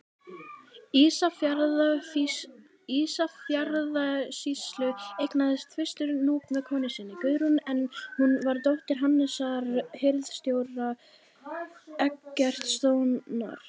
Ísafjarðarsýslu, eignaðist fyrstur Núp með konu sinni, Guðrúnu, en hún var dóttir Hannesar hirðstjóra Eggertssonar.